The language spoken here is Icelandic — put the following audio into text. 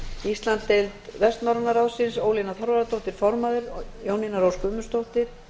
íslandsdeild vestnorræna ráðsins ólína þorvarðardóttir formaður og jónína rós guðmundsdóttir